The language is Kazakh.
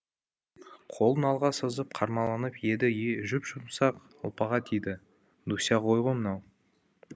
қолын алға созып қармаланып еді жұп жұмсақ ұлпаға тиді дуся ғой мынау